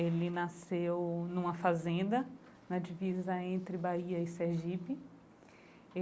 Ele nasceu numa fazenda na divisa entre Bahia e Sergipe.